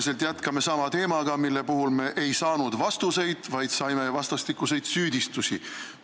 Me jätkame sisuliselt sama teemaga, mille kohta me ei saanud vastuseid, vaid kuulsime vastastikuseid süüdistusi.